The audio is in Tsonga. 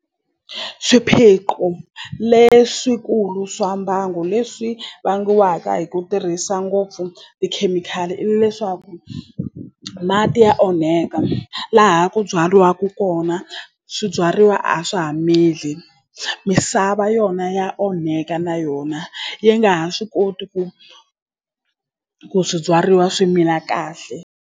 Swiphiqo leswikulu swa mbango leswi vangiwaka hi ku tirhisa ngopfu tikhemikhali i leswaku mati ya onheka laha ku byariwaku kona swibyariwa a swa ha mili misava yona ya onheka na yona yi nga ha swi koti ku ku swibyariwa swi mila kahle.